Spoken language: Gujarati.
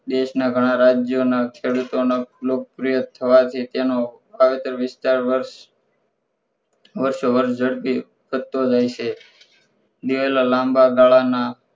દેશના ગણા રાજ્યોના ખેડૂતોનો લોકપ્રિય થવાથી તેનો વાવેતર વિસ્તાર વરસ વારસો વરસ જડપી થતો રહસે દિવેલા લાંબા ગાળાના